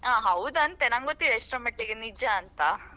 ಹೌದಂತೆ ನಂಗೆಗೊತ್ತಿಲ್ಲಾ ಎಷ್ಟರ ಮಟ್ಟಿಗೆ ನಿಜಾಂತ.